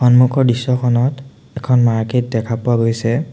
সন্মুখৰ দৃশ্যখনত এখন মাৰ্কেট দেখা পোৱা গৈছে।